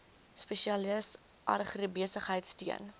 spesialis agribesigheid steun